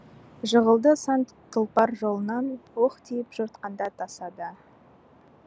жығылды сан тұлпар жолынан оқ тиіп жортқанда тасада